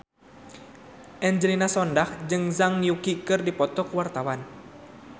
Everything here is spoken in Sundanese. Angelina Sondakh jeung Zhang Yuqi keur dipoto ku wartawan